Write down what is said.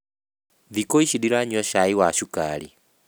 Thikũ ici ndiranyua cai wa cukari